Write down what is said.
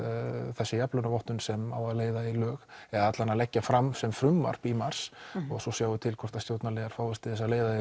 þessi jafnlaunavottun sem á að leiða í lög eða leggja fram sem frumvarp í mars og svo sjáum við til hvort að stjórnarliðar fáist til að leiða